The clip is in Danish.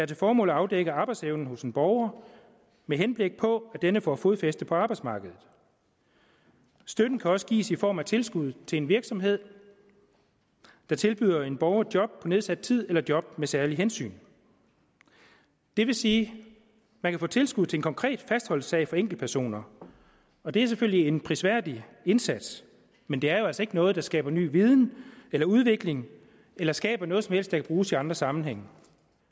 til formål at afdække arbejdsevnen hos en borger med henblik på at denne får fodfæste på arbejdsmarkedet støtten kan også gives i form af tilskud til en virksomhed der tilbyder en borger job på nedsat tid eller job med særlige hensyn det vil sige at man kan få tilskud til en konkret fastholdelsessag for enkeltpersoner og det er selvfølgelig en prisværdig indsats men det er altså ikke noget der skaber ny viden eller udvikling eller skaber noget som helst der kan bruges i andre sammenhænge